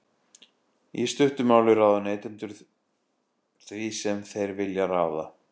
í stuttu máli ráða neytendur því sem þeir vilja ráða